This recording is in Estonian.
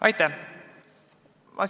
Aitäh!